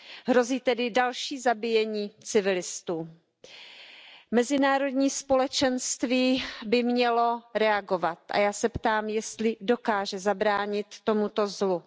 Hrozí tedy další zabíjení civilistů. Mezinárodní společenství by mělo reagovat a já se ptám, jestli dokáže zabránit tomuto zlu.